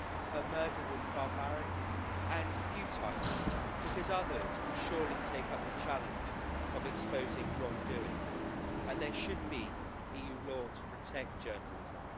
Her murder was barbaric and futile because others will surely take up the challenge of exposing wrongdoing and there should be EU law to protect journalism.